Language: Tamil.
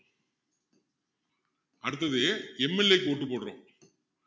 அடுத்தது MLA க்கு vote போடுறோம்